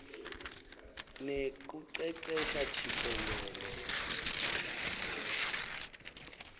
nekucecesha jikelele